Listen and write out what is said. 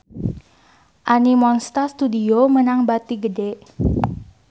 Animonsta Studio meunang bati gede